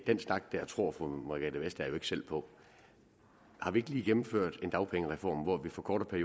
den snak der tror fru margrethe vestager jo ikke selv på har vi ikke lige gennemført en dagpengereform hvor vi forkorter